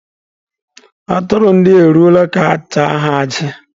Aturu ndia eruola ka-acha ha aji.